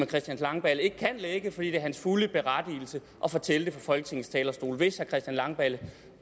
christian langballe ikke kan lække fordi han er fuldt berettiget til at fortælle det fra folketingets talerstol hvis herre christian langballe